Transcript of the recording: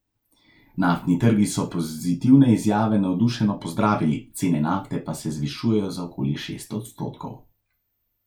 Naftni trgi so pozitivne izjave navdušeno pozdravili, cene nafte pa se zvišujejo za okoli šest odstotkov.